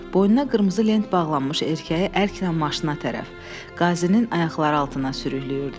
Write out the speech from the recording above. Boynuna qırmızı lent bağlanmış erkəyi əklnən maşına tərəf, qazinin ayaqları altına sürükləyirdilər.